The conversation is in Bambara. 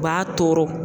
U b'a tɔɔrɔ